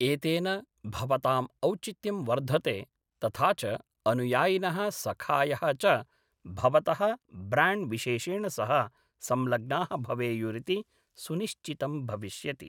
एतेन भवताम् औचित्यं वर्धते तथा च अनुयायिनः सखायः च भवतः ब्राण्ड्विशेषेण सह संलग्नाः भवेयुरिति सुनिश्चितं भविष्यति।